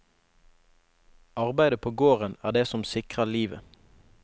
Arbeidet på gården er det som sikrer livet.